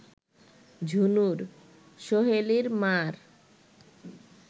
ঝুনুর, সোহেলির মা’র